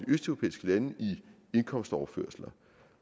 østeuropæiske lande i indkomstoverførsler